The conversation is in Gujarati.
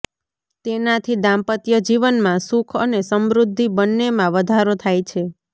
તેનાથી દાંપત્યજીવનમાં સુખ અને સમૃદ્ધી બંનેમાં વધારો થાય છે